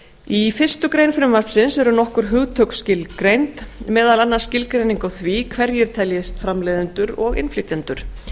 í fyrstu grein frumvarpsins eru nokkur hugtök skilgreind meðal annars skilgreining á því hverjir teljist framleiðendur og innflytjendur